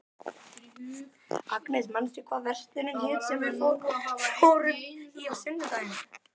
Agnes, manstu hvað verslunin hét sem við fórum í á sunnudaginn?